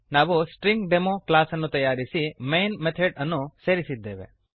ನಾವು string demo string demo ಕ್ಲಾಸನ್ನು ತಯಾರಿಸಿ ಮೈನ್ ಮೆಥಡ್ ಅನ್ನು ಸೇರಿಸಿದ್ದೇವೆ